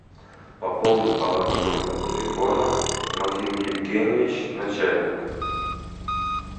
пополнить баланс номера телефона максим евгеньевич начальник